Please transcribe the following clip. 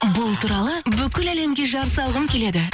бұл туралы бүкіл әлемге жар салғым келеді